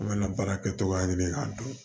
An bɛna baara kɛ togoya ɲini k'a dɔn